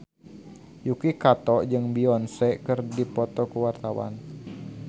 Yuki Kato jeung Beyonce keur dipoto ku wartawan